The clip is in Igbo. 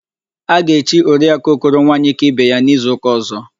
A ga-echi Oriakụ Okoro Nwaanyịkaibeya n'izuụka ọ̀zọ́.